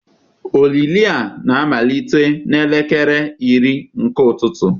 Olili a na-amalite n'elekere iri nke ụtụtụ